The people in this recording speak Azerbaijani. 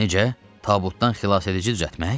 Necə? Tabutdan xilasedici düzəltmək?